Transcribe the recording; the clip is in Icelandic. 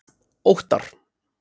Óttar